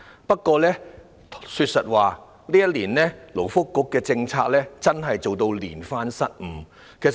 不過，說實話，勞工及福利局這一年的政策可謂連番失誤。